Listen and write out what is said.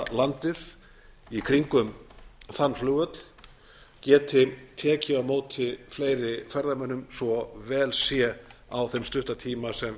ferðalandið í kringum þann flugvöll geti tekið á móti fleiri ferðamönnum svo vel sé á þeim stutta tíma sem